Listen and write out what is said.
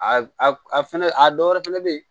A a fɛnɛ a dɔwɛrɛ fɛnɛ be yen